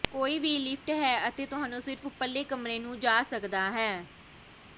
ਕੋਈ ਵੀ ਲਿਫਟ ਹੈ ਅਤੇ ਤੁਹਾਨੂੰ ਸਿਰਫ ਉੱਪਰਲੇ ਕਮਰੇ ਨੂੰ ਜਾ ਸਕਦਾ ਹੈ